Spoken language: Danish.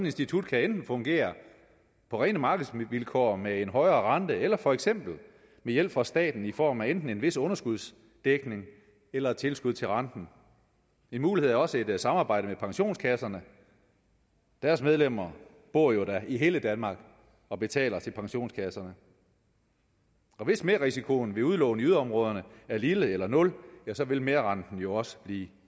institut kan enten fungere på rene markedsvilkår med en højere rente eller for eksempel med hjælp fra staten i form af enten en vis underskudsdækning eller tilskud til renten en mulighed er også et samarbejde med pensionskasserne deres medlemmer bor jo da i hele danmark og betaler til pensionskasserne og hvis merrisikoen ved udlån i yderområderne er lille eller nul vil merrenten jo også blive